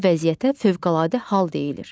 Belə vəziyyətə fövqəladə hal deyilir.